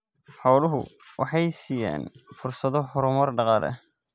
Xooluhu waxay siinayaan fursado horumar dhaqaale.